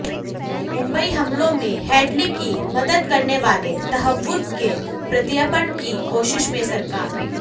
मुंबई हमलों में हेडली की मदद करने वाले तहव्वुर के प्रत्यर्पण की कोशिश में सरकार